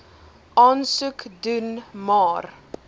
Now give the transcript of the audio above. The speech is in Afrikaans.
aansoek doen maar